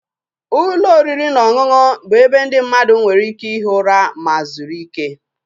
Ụlọ oriri na ọṅụṅụ bụ ebe ndị mmadụ nwere ike ihi ụra ma zuru ike